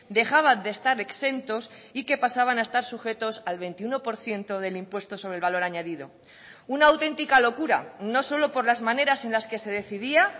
dejaban de estar exentos y que pasaban a estar sujetos al veintiuno por ciento del impuesto sobre el valor añadido una auténtica locura no solo por las maneras en las que se decidía